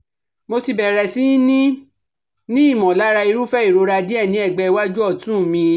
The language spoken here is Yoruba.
Mo ti bẹ̀rẹ̀ sí ní ní ìmọ̀lára irúfẹ́ ìrora díẹ̀ ní ẹ̀gbẹ́ iwájú ọ̀tún mi